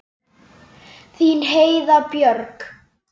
Þín Heiða Björg.